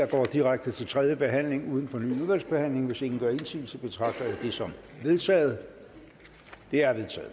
går direkte til tredje behandling uden fornyet udvalgsbehandling hvis ingen gør indsigelse betragter jeg det som vedtaget det er vedtaget